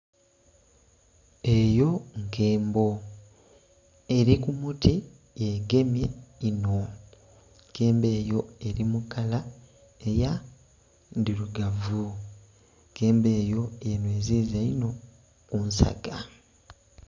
Eyo nkembo eri kubuti yegemye inho, enkembo eyo eri mukala eya ndhirugavu. Enkembo eyo yenhweziza inho ku nsaga.